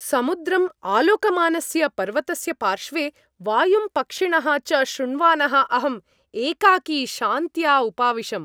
समुद्रम् आलोकमानस्य पर्वतस्य पार्श्वे, वायुं पक्षिणः च शृण्वानः अहम् एकाकी शान्त्या उपाविशम्।